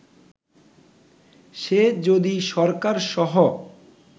সে যদি সরকার সহ